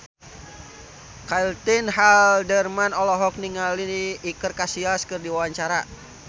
Caitlin Halderman olohok ningali Iker Casillas keur diwawancara